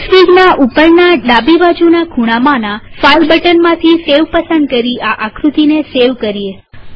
એક્સફીગના ઉપરના ડાબીબાજુના ખૂણામાંના ફાઈલ બટનમાંથી સેવ પસંદ કરી આ આકૃતિને સેવ કરીએ